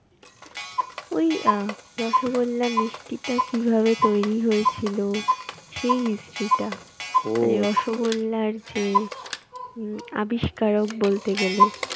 ওই আহ রসগোল্লা মিষ্টিটা কি ভাবে তৈরী হয়েছিল? সেই history টা, মানে রসগোল্লার যে উম আবিস্কারক বলতে গেলে।